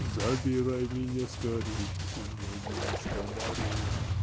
забирай меня скорей увози за сто морей